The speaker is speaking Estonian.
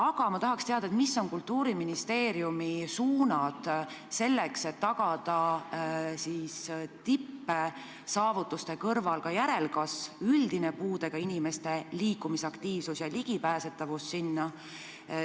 Aga ma tahaksin teada, millised on Kultuuriministeeriumi töösuunad, et tagada tippsaavutuste kõrval ka järelkasv, üldine puudega inimeste liikumisaktiivsus ja ligipääsetavus spordile.